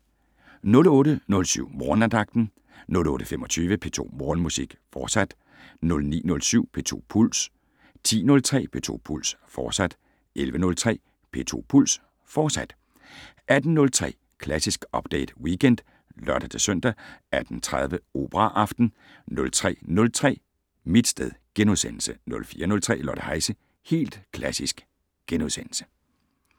08:07: Morgenandagten 08:25: P2 Morgenmusik, fortsat 09:07: P2 Puls 10:03: P2 Puls, fortsat 11:03: P2 Puls, fortsat 18:03: Klassisk Update Weekend (lør-søn) 18:30: Operaaften 03:03: Mit sted * 04:03: Lotte Heise - Helt Klassisk *